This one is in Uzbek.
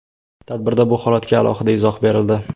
Tadbirda bu holatga alohida izoh berildi.